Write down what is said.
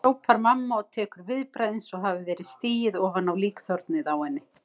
hrópar mamma og tekur viðbragð eins og hafi verið stigið ofan á líkþornið á henni.